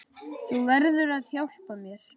Þú verður að hjálpa mér.